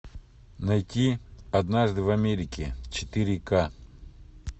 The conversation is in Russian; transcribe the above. найти однажды в америке четыре ка